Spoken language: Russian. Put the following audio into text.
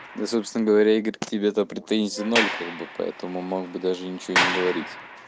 да собственно говоря игорь к тебе претензий ноль как бы поэтому мог бы даже ничего не говорить